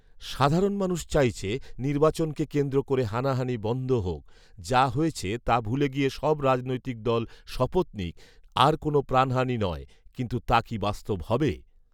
সাধারণ মানুষ চাইছে, নির্বাচনকে কেন্দ্র করে হানাহানি বন্ধ হোক৷যা হয়েছে তা ভুলে গিয়ে সব রাজনৈতিক দল শপথ নিক, আর কোনো প্রাণহানি নয়৷ কিন্তু তা কি বাস্তব হবে